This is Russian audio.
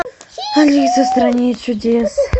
алиса в стране чудес